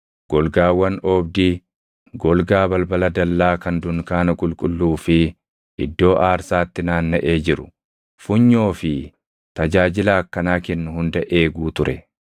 golgaawwan oobdii, golgaa balbala dallaa kan dunkaana qulqulluu fi iddoo aarsaatti naannaʼee jiru, funyoo fi tajaajila akkanaa kennu hunda eeguu ture.